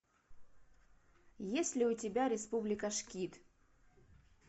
есть ли у тебя республика шкид